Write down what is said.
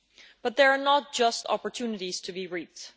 But there are not only opportunities to be reaped